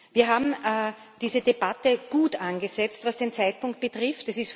Wir haben diese Debatte gut angesetzt, was den Zeitpunkt betrifft.